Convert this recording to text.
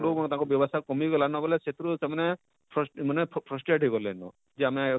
ଲୋକ ମାନେ ତାଙ୍କର ବ୍ୟବସ୍ତା କମି ଗଲାନ ବଏଲେ ସେଥିରୁ ସେମାନେ ଫସ firsted ହେଇ ଗଲେନ ଯେ ଆମେ,